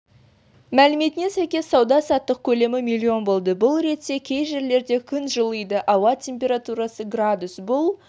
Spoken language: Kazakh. мәліметіне сәйкес сауда-саттық көлемі миллион болды бұл ретте кей жерлерде күн жылиды ауа температурасы градус бұл